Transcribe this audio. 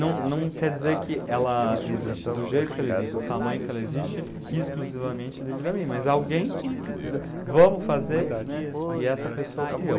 Não quer dizer que ela existe do jeito que ela existe, do tamanho que ela existe, aham, exclusivamente devido a mim, mas alguém tinha que, vamos fazer, né, e essa pessoa fui eu.